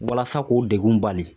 Walasa k'o degun bali